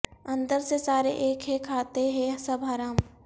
اندر سے سارے ایک ہیں کھاتے ہیں سب حرام